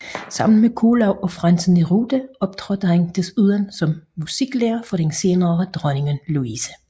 Sammen med Kuhlau og Franz Neruda optrådte han desuden som musiklærer for den senere dronning Louise